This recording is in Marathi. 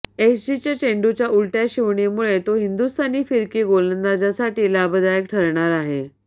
एसजीच्या चेंडूच्या उलटय़ा शिवणीमुळे तो हिंदुस्थानी फिरकी गोलंदाजांसाठी लाभदायक ठरणार आहे